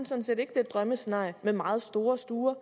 synes at det er et drømmescenarie med meget store stuer